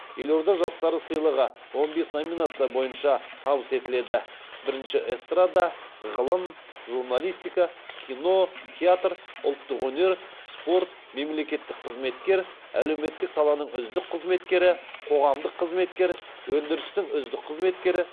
елорда жастары сыйлығы он бес номинация бойынша табыс етіледі бірінші эстрада ғылым журналистика кино театр ұлттық өнер спорт мемлекеттік қызметкер әлеуметтік саланың үздік қызметкері қоғамдық қызмет өндірістің үздік қызметкері